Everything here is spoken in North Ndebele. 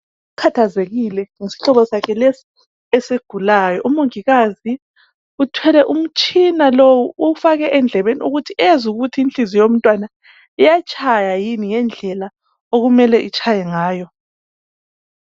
Ukhathazekile ngesihlobo sakhe lesi esigulayo. Umongikazi uthwele umtshina lowu ukuthi awufake endlebeni ezwe ukuthi inhliziyo yomntwana iyatshaya yini ngendlela okumele itshaye ngayo.